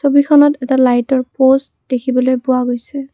ছবিখনত এটা লাইটৰ প'ষ্ট দেখিবলৈ পোৱা গৈছে।